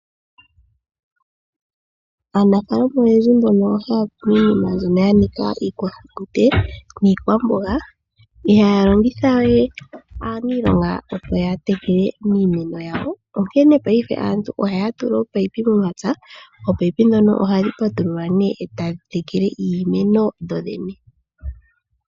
Aanafaalama oyendji mbono haya kunu iinima mbyono yanika iikwahulunde niikwamboga, ihaya longithawe opo yatekele iimeno yawo, onkene paife ohaya tula ominino momapya. Ohadhi patululwa , etadhi tekele kudho dhene.